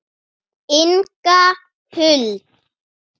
Og stríðið var fyrir utan.